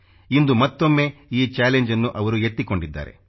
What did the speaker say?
ಇಂದು ಮತ್ತೊಮ್ಮೆ ಈ ಚಾಲೆಂಜ್ನ್ನು ಅವರು ಎತ್ತಿಕೊಂಡಿದ್ದಾರೆ